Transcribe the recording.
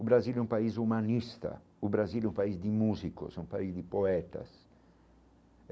O Brasil é um país humanista, o Brasil é um país de músicos, é um país de poetas.